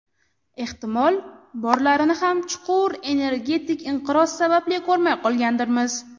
Ehtimol, borlarini ham chuqur energetik inqiroz sababli ko‘rmay qolgandirmiz.